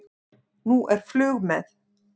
Nú er flug með